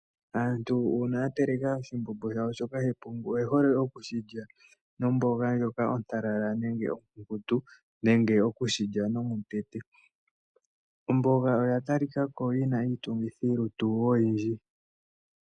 Aantu uuna ya teleka oshimbombo shawo shoka shepungu oye hole oku shi lya nomboga ndjoka ontalala nenge onkunkutu nenge oku shi lya nomutete. Omboga oya talika ko yi na iitungithilutu oyindji.